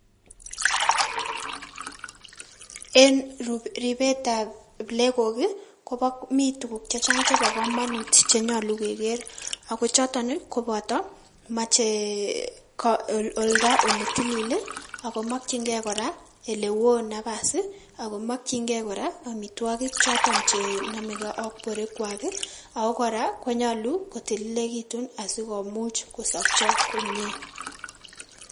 En ribet ab plekok kii kobo mii tukuk chechang chebo komomun chemoche keker ako choton nii kopoto mochee oldo olee tilii lii ako mokin gee koraa ole won nafasii ako mokin gee koraa omitwoki choton che nomegee ak borwek kwaa kii ako koraa koyolu kotililekitun asikomuch kosopcho komie.